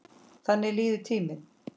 Þannig líður tíminn.